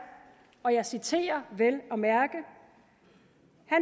og jeg citerer vel at mærke at